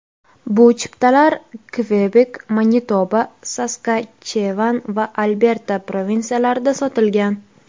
Bu chiptalar Kvebek, Manitoba, Saskachevan va Alberta provinsiyalarida sotilgan.